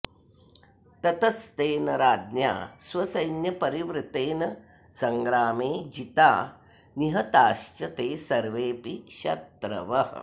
ततस्तेन राज्ञा स्वसैन्यपरिवृतेन सङ्ग्रामे जिता निहताश्च ते सर्वेऽपि शत्रवः